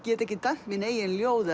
get ekki dæmt mín eigin ljóð